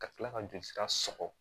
Ka tila ka joli sira sɔgɔ